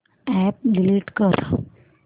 app delete कर